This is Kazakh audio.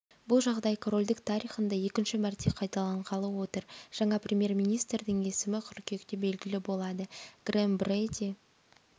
бұл жағдай корольдік тарихында екінші мәрте қайталанғалы отыр жаңа премьер-министрдің есімі қыркүйекте белгілі болады грэм бреди